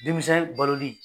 Denmisɛn baloli.